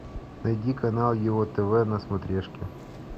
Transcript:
найди канал ео тв на смотрешке